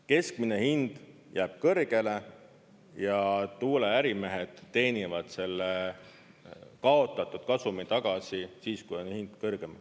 Keskmine hind jääb kõrgele ja tuuleärimehed teenivad selle kaotatud kasumi tagasi siis, kui on hind kõrgem.